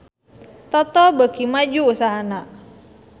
Toto beuki maju usahana